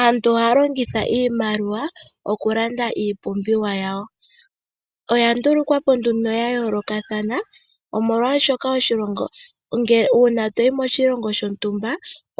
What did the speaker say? Aantu ohaya longitha iimaliwa okulanda iipumbiwa yawo. Oya ndulukwa po nduno ya yoolokathana. Uuna to yi moshilongo shontumba